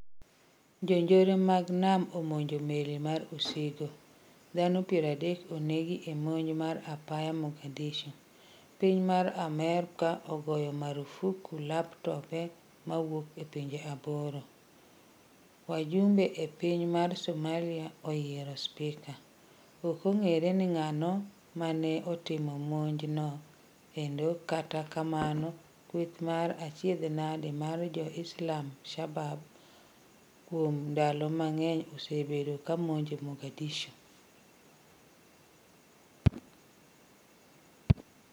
Jonjore mag nam omonjo meli mar osigo. Dhano 30 onegi e monj mar apoya Mogadishu. Piny mar Amerika ogoyo marufuku laptobe mawuok e pinje 8. Wajumbe e piny mar Somalia oyiero spika. Okong'eyore ni ng'ano mane otimo monj no endo kata kamano kweth mar achiedh nade mar Jo Islamal-Shabaab, kuom ndalo mang'eny osebedo kamonjo Mogadishu